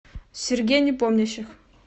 сергей непомнящих